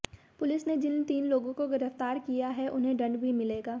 police ने जिन तीन लोगों को गिरफ्तार किया है उन्हें दंड भी मिलेगा